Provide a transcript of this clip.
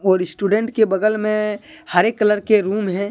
और स्टूडेंट के बगल में हरे कलर के रूम है।